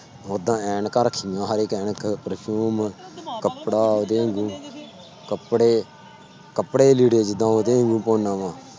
ਓਦਾਂ ਐਨਕਾਂ ਰੱਖੀਆਂ ਹਰ ਇੱਕ ਐਨਕ perfume ਕੱਪੜਾ ਉਹਦੇ ਵਾਂਗੂ ਕੱਪੜੇ, ਕੱਪੜੇ ਲੀੜੇ ਜਿੱਦਾਂ ਉਹਦੇ ਵਾਂਗੂ ਪਾਉਨਾ ਵਾਂ।